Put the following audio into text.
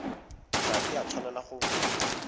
ga e a tshwanela go